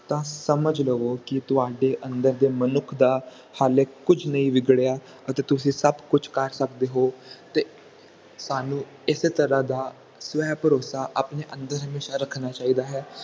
ਤਾ ਸਮਝ ਲਵੋ ਕਿ ਤੁਹਾਡੇ ਅੰਦਰ ਦੇ ਮਨੁੱਖ ਦਾ ਹਾਲੇ ਕੁਛ ਨਹੀਂ ਵਿਗੜਿਆ ਅਤੇ ਤੁਸੀਂ ਸਭ ਕੁਛ ਕਰ ਸਕਦੇ ਹੋ ਤੇ ਤੁਹਾਨੂੰ ਇਸੇ ਤਰ੍ਹਾਂ ਦਾ ਸਵੈ ਭਰੋਸਾ ਆਪਣੇ ਅੰਦਰ ਹਮੇਸ਼ਾ ਰੱਖਣਾ ਚਾਹੀਦਾ ਹੈ